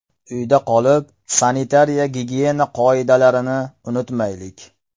Uyda qolib, sanitariya-gigiyena qoidalarini unutmaylik!